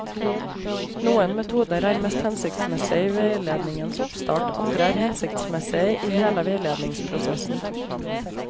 Noen metoder er mest hensiktsmessige i veiledningens oppstart, andre er hensiktsmessige i hele veiledningsprosessen.